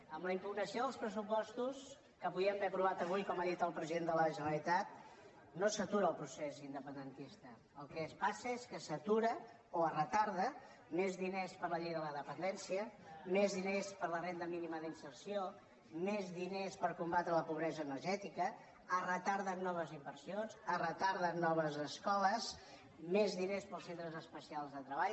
amb la impugnació dels pressupostos que podíem haver aprovat avui com ha dit el president de la generalitat no s’atura el procés independentista el que passa és que s’atura o es retarda més diners per a la llei de la dependència més diners per a la renda mínima d’inserció més diners per combatre la pobresa energètica es retarden noves inversions es retarden noves escoles més diners per als centres especials de treball